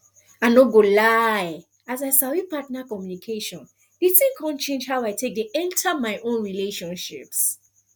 i no go lie as i sabi partner communication the thing come change how i take dey enter my own relationships